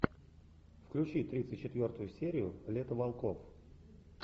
включи тридцать четвертую серию лето волков